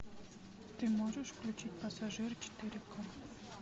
ты можешь включить пассажир четыре ка